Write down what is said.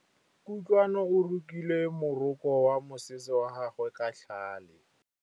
Kutlwanô o rokile morokô wa mosese wa gagwe ka tlhale.